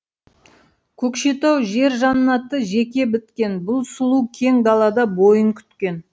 көкшетау жер жаннаты жеке біткен бұл сұлу кең далада бойын күткен